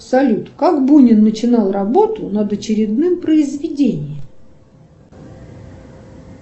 салют как бунин начинал работу над очередным произведением